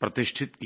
प्रतिष्ठित किया